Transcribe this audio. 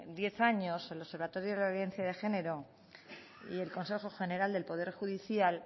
diez años el observatorio de violencia de género y el consejo general del poder judicial